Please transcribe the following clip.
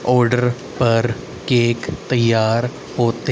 order पर cake तैयार होते--